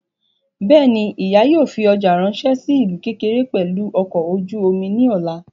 Bẹ́ẹ̀ni, ìyá yóò fi ọjà ráńṣẹ́ sí ìlú ókéré pẹ̀lú ọkọ̀ ojú omi ní ọ̀la